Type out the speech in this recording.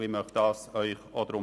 Ich bitte Sie, dies auch zu tun.